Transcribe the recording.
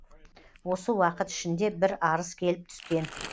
осы уақыт ішінде бір арыз келіп түскен